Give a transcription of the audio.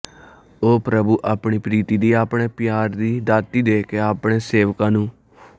ਉਹ ਪ੍ਰਭੂ ਆਪਣੀ ਪ੍ਰੀਤਿ ਦੀ ਆਪਣੇ ਪਿਆਰ ਦੀ ਦਾਤਿ ਦੇ ਕੇ ਆਪਣੇ ਸੇਵਕਾਂ ਨੂੰ